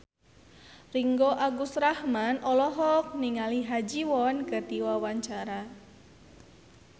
Ringgo Agus Rahman olohok ningali Ha Ji Won keur diwawancara